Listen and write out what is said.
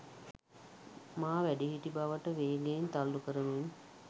මා වැඩිහිටි බවට වේගයෙන් තල්ලු කරමින්''